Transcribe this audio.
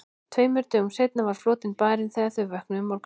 Tveimur dögum seinna var flotinn farinn þegar þau vöknuðu um morguninn.